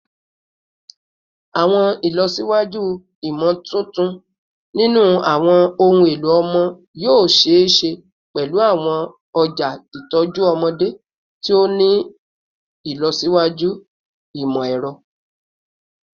Awọn ilọsiwaju imotuntun ninu awọn ohun elo ọmọ yoo ṣee ṣe pẹlu awọn ọja itọju ọmọde ti o ni ilọsiwaju imọ-ẹrọ